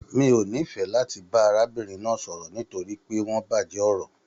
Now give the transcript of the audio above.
Mi o n'ifẹ láti arábìnrin náà sọ̀rọ̀ nitori pé wọn bàjẹ́ ọ̀rọ̀.